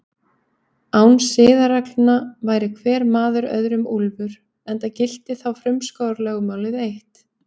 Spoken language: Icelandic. Án siðareglna væri hver maður öðrum úlfur, enda gilti þá frumskógarlögmálið eitt.